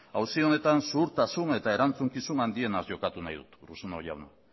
auzi honetan zuhurtasun eta erantzukizun handienaz jokatu nahi dut urruzuno jauna